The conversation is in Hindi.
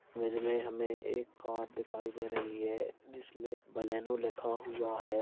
इमेज में हमे एक कार दिखाई दे रही है जिसमें बोलेरो लिखा हुआ है।